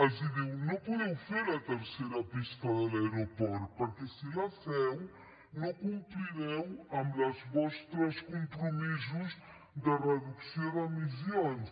els diu no podeu fer la tercera pista de l’aeroport perquè si la feu no complireu amb els vostres compromisos de reducció d’emissions